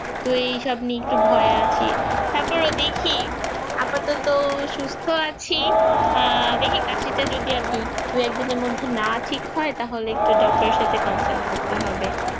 তুই এইসব নিয়ে কিছু ভয় আছে তাকে দেখছি আপাতত শিক্ষা সুস্থ আছি দেখে কাশিটা যদি এক দুই এক দিনের মধ্যে ঠিক হয় তাহলে doctor করতে হবে